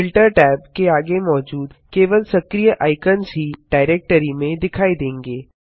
filter tab के आगे मौजूद केवल सक्रीय आइकन्स ही डाइरेक्टरी में दिखाई देंगे